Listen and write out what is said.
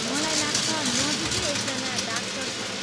मलाई लाग्छ, नजिकै एकजना डाक्टर छन्।